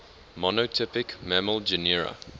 monotypic mammal genera